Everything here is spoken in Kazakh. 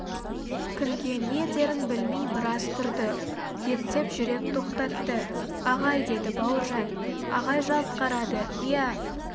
кімге не дерін білмей біраз тұрды ептеп жүрек тоқтатты ағай деді бауыржан ағай жалт қарады иә